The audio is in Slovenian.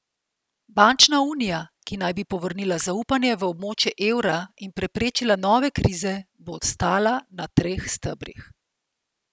Bančna unija, ki naj bi povrnila zaupanje v območje evra in preprečila nove krize, bo stala na treh stebrih.